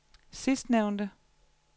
sidstnævnte